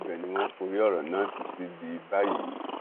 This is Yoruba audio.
ibẹ ni wọn forí ọrọ náà ti sì di báyìí